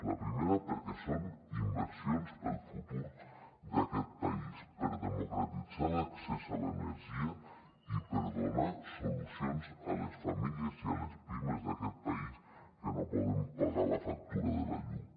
la primera perquè són inversions per al futur d’aquest país per democratitzar l’accés a l’energia i per donar solucions a les famílies i a les pimes d’aquest país que no poden pagar la factura de la llum